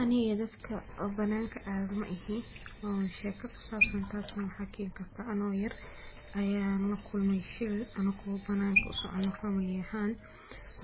Anika dadka oo bananka adoh maihi oo sheeka kusabsan taasnah maxa keenkartah ano yar Aya lakulmay sheer anako bananka u socotoh family ahaan